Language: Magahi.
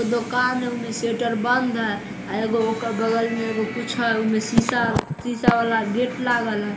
एगो दुकान है ओमे शटर बंद है आ एगो ओकर बगल मे कुछ है ओमें शीशा शीशा वाला गेट लागल है।